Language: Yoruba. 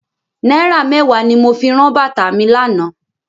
Náírà mẹ́wàá ni mo fi ran bàtá mi lánàá.